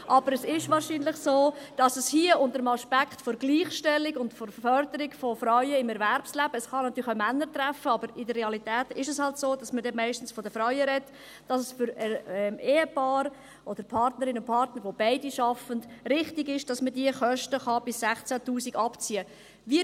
Aber wahrscheinlich ist es so, dass es hier unter dem Aspekt der Gleichstellung und der Förderung von Frauen im Erwerbsleben – es kann natürlich auch Männer treffen, aber in der Realität ist es nun mal so, dass man da meistens von den Frauen spricht – für Ehepaare oder Partnerinnen und Partner, die beide arbeiten, richtig ist, dass man diese Kosten bis 16’000 Franken abziehen kann.